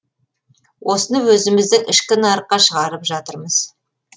осыны өзіміздің ішкі нарыққа шығарып жатырмыз